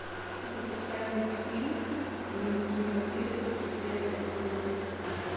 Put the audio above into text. запускай мультфильм дневники вампира тридцать первая серия